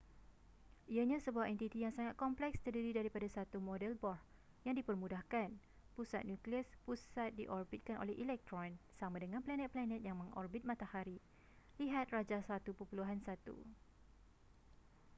ianya sebuah entiti yang sangat kompleks terdiri daripada satu model bohr yang dipermudahkan pusat nukleus pusat diorbitkan oleh elektron sama dengan planet-planet yang mengorbit matahari lihat rajah 1.1